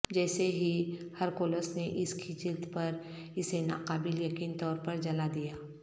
جیسے ہی ہرکولس نے اس کی جلد پر اسے ناقابل یقین طور پر جلا دیا